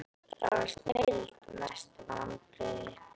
það var snilld Mestu vonbrigði?